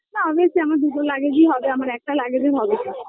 না আমি হচ্ছে গিয়ে আমার দুটো luggage -ই হবে একটা luggage -এ হবে না